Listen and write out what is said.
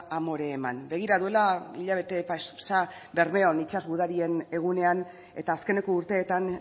amore eman begira duela hilabete pasa bermeon itsas gudarien egunean eta azkeneko urteetan